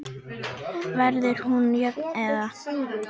Verður hún jöfn eða?